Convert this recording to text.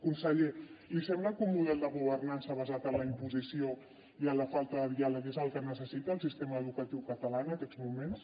conseller li sembla que un model de governança basat en la imposició i en la falta de diàleg és el que necessita el sistema educatiu català en aquests moments